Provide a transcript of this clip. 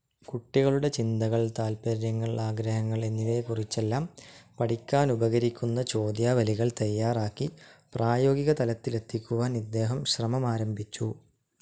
കുട്ടികളുടെ ചിന്തകൾ, താൽപ്പര്യങ്ങൾ, ആഗ്രഹങ്ങൾ, എന്നിവയെക്കുറിച്ചെല്ലാം പഠിക്കാനുപകരിക്കുന്ന ചോദ്യാവലികൾ തയ്യാറാക്കി പ്രായോഗിക തലത്തിലെത്തിക്കുവാൻ ഇദ്ദേഹം ശ്രമമാരംഭിച്ചു.